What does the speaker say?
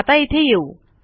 आता इथे येऊ